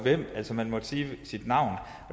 altså man måtte kun sige sit navn